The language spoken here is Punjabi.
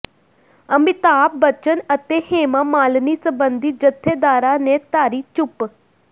ਅਮਿਤਾਭ ਬੱਚਨ ਅਤੇ ਹੇਮਾ ਮਾਲਿਨੀ ਸਬੰਧੀ ਜਥੇਦਾਰਾਂ ਨੇ ਧਾਰੀ ਚੁੱਪ